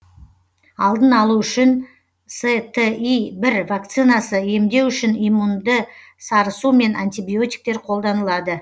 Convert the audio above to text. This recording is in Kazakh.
алдын алу үшін сти бір вакцинасы емдеу үшін иммунді сарысу мен антибиотиктер қолданылады